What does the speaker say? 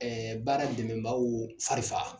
Ɛɛ baara dɛmɛbaw fari fa